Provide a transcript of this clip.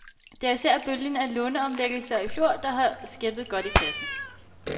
Det er især bølgen af låneomlægninger i fjor, der har skæppet godt i kassen.